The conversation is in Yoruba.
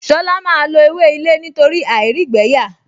Ṣọlá máa lo ewé ilé nítorí àìrígbẹ̀ẹ́yà